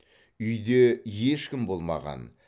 үйде ешкім болмаған